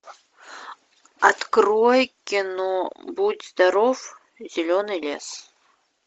открой кино будь здоров зеленый лес